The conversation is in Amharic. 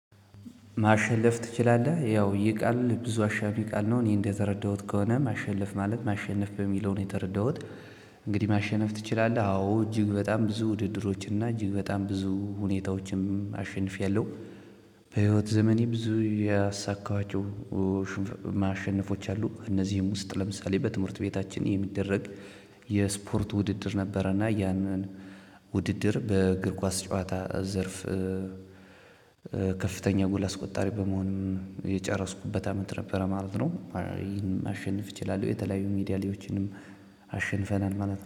ማሸነፍ ትችላለህ ያው ይሄ ቃል ብዙ አሻሚ ቃል ነው እኔ እንደተረዳሁት ከሆነ ማሸለፍ ማለት ማሸነፍ በሚለው ነው የተረዳሁት እንግዲህ ማሸነፍ ትችላለህ? አዎ እጅግ በጣም ብዙ ውድድሮች እና እጅግ በጣም ብዙ ሁኔታዎችንም አሸንፌያለሁ። በህይወት ዘመኔ ብዙ ያሳካኋቸው ሽን ማሸነፎች አሉ። እነዚህም ውስጥ ለምሳሌ በትምህርት ቤታችን የሚደረግ የ የስፖርት ውድድር ነበረና ያንን ውድድር በእግር ኳስ ጨዋታ ዘርፍ ከፍተኛ ጎል አስቆጣሪ በመሆንም የጨረስኩበት አመት ነበረ ማለት ነው ይሄንም ማሸንፍ እችላለሁ የተለያዩ ሜዳሊያዎችንም አሸንፈናል ማለት ነው